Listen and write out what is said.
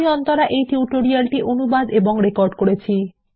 আমি অন্তরা এই টিউটোরিয়াল টি অনুবাদ এবং রেকর্ড করেছি